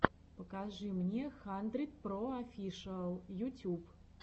покажи мне хандридпроофишиал ютюб